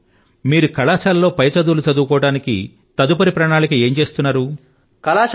ఓహ్ మీరు కళాశాల లో పై చదువులు చదువుకోవడానికి తదుపరి ప్రణాళిక ఏం చేస్తున్నారు